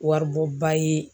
Waribɔba ye.